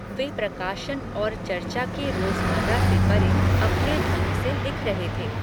वे, प्रकाशन और चर्चा के रोज़मर्रा से परे, अपने ढंग से लिख रहे थे